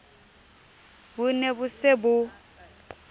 bo ne bo se bo